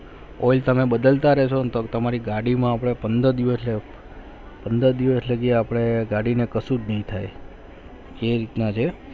oil તો મના બદલતા રહેવા તમારે ગાડી માં પંદ્રહ દિવસ માં પંદ્રહ દિવસ લાગે પણે ગાડી મેં કાંસુ નહિ થાય એ રીતના છે